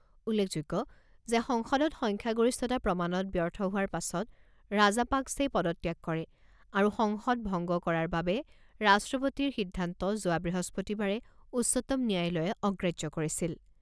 উল্লেখযোগ্য যে সংসদত সংখ্যাগৰিষ্ঠতা প্ৰমাণত ব্যৰ্থ হোৱাৰ পাছত ৰাজাপাক্‌ছেই পদত্যাগ কৰে আৰু সংসদ ভংগ কৰাৰ বাবে ৰাষ্ট্ৰপতিৰ সিদ্ধান্ত যোৱা বৃহস্পতিবাৰে উচ্চতম ন্যায়ালয়ে অগ্ৰাহ্য কৰিছিল।